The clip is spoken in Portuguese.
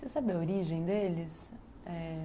Você sabe a origem deles? é...